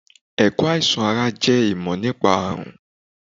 Ẹ̀kọ́ àìsàn ara jẹ́ ìmọ̀ nípa àrùn